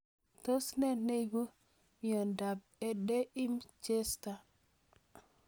Tos nee neiparu miondop Erdheim Chester